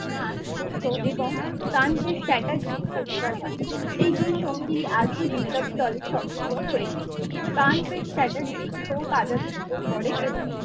রাগ ক্ষুব্ধ এবং গাম্ভিক চ্যাটার্জি পরিচয় হয় এই দুই সংগী আগেই বিপ্লবী দলের সদস্য হয়েছে ।